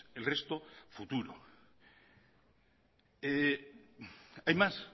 el resto futuro hay más